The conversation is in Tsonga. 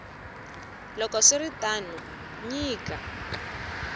loko swi ri tano nyika